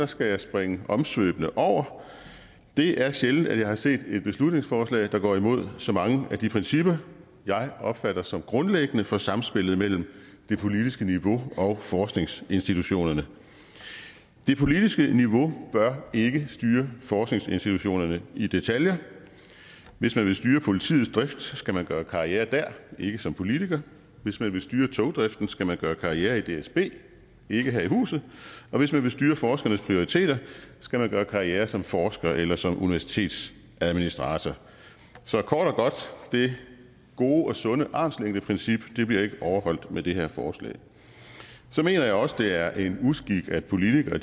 skal jeg springe omsvøbene over det er sjældent at jeg har set et beslutningsforslag der går imod så mange af de principper jeg opfatter som grundlæggende for samspillet mellem det politiske niveau og forskningsinstitutionerne det politiske niveau bør ikke styre forskningsinstitutionerne i detaljer hvis man vil styre politiets drift skal man gøre karriere der ikke som politiker hvis man vil styre togdriften skal man gøre karriere i dsb ikke her i huset og hvis man vil styre forskernes prioriteter skal man gøre karriere som forsker eller som universitetsadministrator så kort og godt det gode og sunde armslængdeprincip bliver ikke overholdt med det her forslag så mener jeg også det er en uskik at politikere